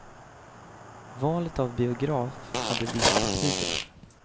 Valet av biograf hade viss betydelse.